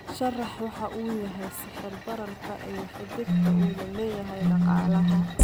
sharax waxa uu yahay sicir bararka iyo xidhiidhka uu la leeyahay dhaqaalaha